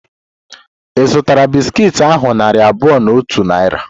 Ị zutara bisiki ahu narị abụọ na otu Naira?